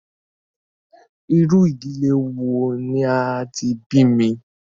Irú ìdílé wò ní a tí bí mí?